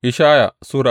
Ishaya Sura